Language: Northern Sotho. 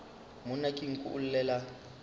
monna ke nku o llela